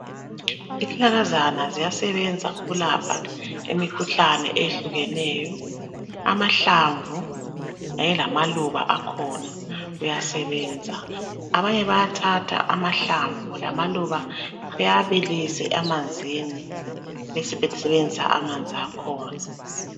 izihlahlakazana ziyasebenza ukulapha imikhuhlane ehlukeneyo amahlamvu ayelamaluba akhona kuyasebenza abanye bayathatha amahlamvu lamaluba bawabilise emanzini besebesebenzisa amanzi akhona